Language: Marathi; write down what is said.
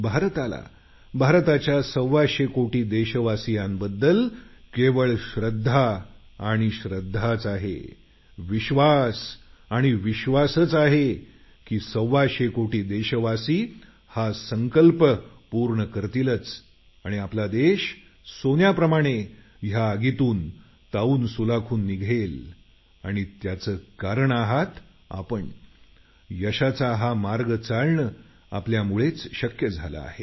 भारताला भारताच्या सव्वाशे कोटी देशवासियांबद्दल केवळ श्रद्धा आणि श्रद्धाच आहे विश्वास आणि विश्वासच आहे की सव्वाशे कोटी देशवासी हा संकल्प पूर्ण करतीलच आणि आपला देश सोन्याप्रमाणे या आगीतून तावून सुलाखून निघेल त्याचं कारण आपण आहात यशाचा हा मार्ग चालणं आपल्यामुळेच शक्य झालं आहे